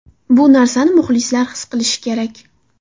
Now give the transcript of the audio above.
Bu narsani muxlislar his qilishi kerak.